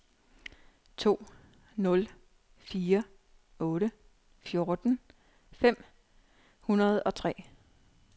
to nul fire otte fjorten fem hundrede og tre